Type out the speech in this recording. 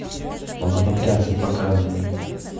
лоботрясы показывай